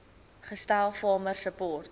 gestel farmer support